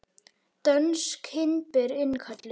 Dönsk hindber innkölluð